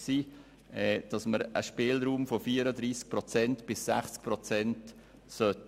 Den Antrag der FDP, BDP und EDU werden wir daher unterstützen.